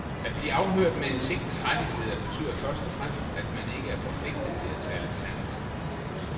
At blive afhørt med en sigtets rettigheder betyder først og fremmest, at man ikke er forpligtet til at tale sandt.